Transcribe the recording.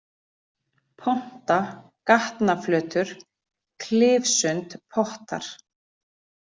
Ponta, Gatnaflötur, Klifsund, Pottar